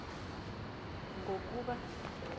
ngokuba